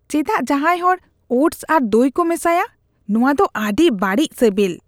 ᱪᱮᱫᱟᱜ ᱡᱟᱦᱟᱸᱭ ᱦᱚᱲ ᱳᱴᱥ ᱟᱨ ᱫᱚᱭ ᱠᱚ ᱢᱮᱥᱟᱭᱟ ? ᱱᱚᱶᱟ ᱫᱚ ᱟᱹᱰᱤ ᱵᱟᱹᱲᱤᱡ ᱥᱮᱵᱮᱞ ᱾